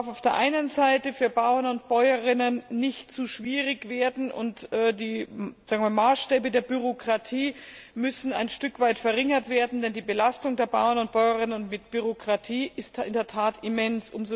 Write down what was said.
Auf der einen Seite darf es für Bauern und Bäuerinnen nicht zu schwierig werden, und die Maßstäbe der Bürokratie müssen ein Stück weit verringert werden, denn die Belastung der Bauern und Bäuerinnen durch Bürokratie ist in der Tat immens.